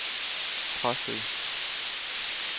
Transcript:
Præstø